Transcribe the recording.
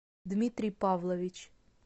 дмитрий павлович